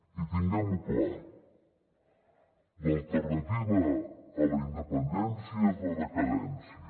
i tinguem ho clar l’alternativa a la independència és la decadència